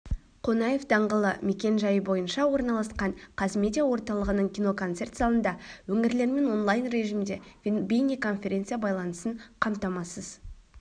қонаев даңғылы мекен-жайы бойынша орналасқан қазмедиа орталығының киноконцерт залында өңірлермен онлайн режимде бейнеконференция байланысын қамтамасыз